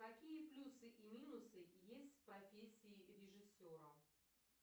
какие плюсы и минусы есть в профессии режиссера